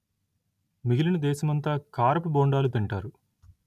మిగిలిన దేశమంతా కారపు బోండాలు తింటారు